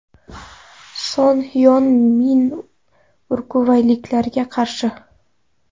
Son Hyon Min urugvayliklarga qarshi.